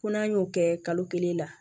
Ko n'an y'o kɛ kalo kelen la